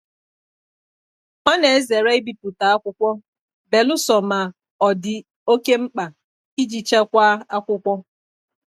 Ọ na-ezere ibipụta akwụkwọ belụsọ ma ọ dị oke mkpa iji chekwaa akwụkwọ.